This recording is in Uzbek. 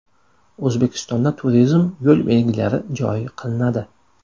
O‘zbekistonda turizm yo‘l belgilari joriy qilinadi.